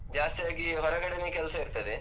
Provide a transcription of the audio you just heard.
ಜಾಸ್ತಿ ಆಗಿ ಹೊರಗಡೆನೆ ಕೆಲ್ಸ ಇರ್ತದೆ.